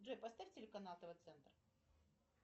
джой поставь телеканал тв центр